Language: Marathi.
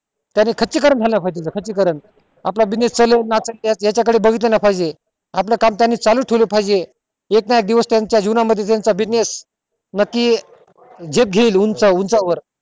त्याने खर्ची करणं झालं पाहिजे खर्ची करण आपला business चालून आपण याच्या कडे बघितलं नाही पाहिजे आपलं काम त्यांनी चालू ठेवलं पाहिजे एक ना एक दिवस त्याच्या जिंवना मध्ये त्यांचा business नक्की झेप घेईल उंच उंचा वर